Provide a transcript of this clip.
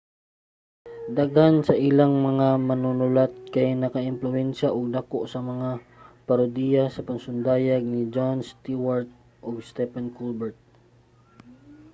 daghan sa ilang mga manunulat kay nakaempluwensiya og dako sa mga parodiya nga pasundayag ni jon stewart ug stephen colbert